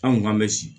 An kun kan bɛ si